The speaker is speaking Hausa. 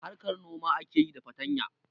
Harkar noma ake yi da fatanya